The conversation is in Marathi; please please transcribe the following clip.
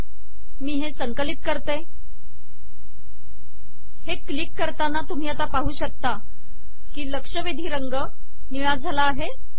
मी हे संकलित करते हे क्लिक करताना तुम्ही पाहू शकता की लक्षवेधी रंग निळा झाला आहे